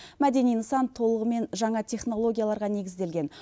мәдени нысан толығымен жаңа технологияларға негізделген